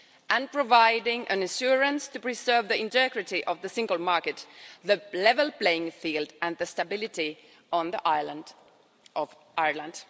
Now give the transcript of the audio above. EU, and providing an insurance to preserve the integrity of the single market, the level playing field and the stability on the island of Ireland.